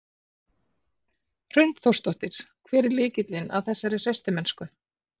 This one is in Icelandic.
Hrund Þórsdóttir: Hver er lykillinn að þessari hreystimennsku?